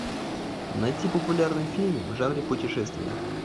найти популярные фильмы в жанре путешествия